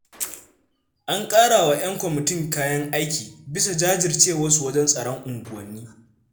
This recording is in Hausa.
An ƙarawa 'yan kwamitin kayan aiki, bisa jajircewarsu wajen tsaron unguwanni.